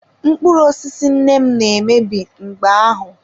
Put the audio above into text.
Mkpụrụ osisi nne m na-emebi mgbe ahụ.